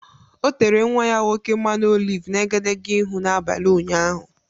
O tere nnwa ya nwoke mmanụ oliv n’egedege ihu n’abalị ụnyaahụ.